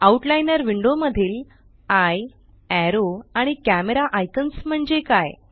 outliner window मधील eye arrow आणि camera icons म्हणजे काय